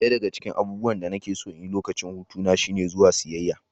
Ɗaya daga cikin abubuwan da nake son yi a lokacin hutu na shine zuwa siyayya.